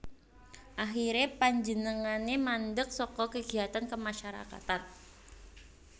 Akhiré panjenengané mandek saka kegiatan kemasyarakatan